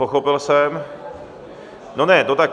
Pochopil jsem, no ne, no tak...